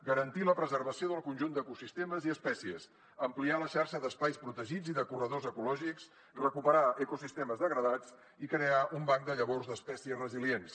garantir la preservació del conjunt d’ecosistemes i espècies ampliar la xarxa d’espais protegits i de corredors ecològics recuperar ecosistemes degradats i crear un banc de llavors d’espècies resilients